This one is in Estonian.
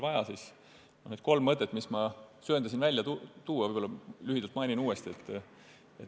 Mainin siinkohal kolme mõtet, mis ma enne söandasin välja tuua, lühidalt uuesti.